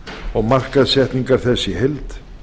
og markaðssetningar þess í heild